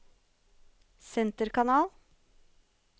senterkanal